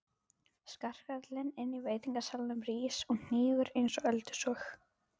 Skarkalinn inní veitingasalnum rís og hnígur einsog öldusog.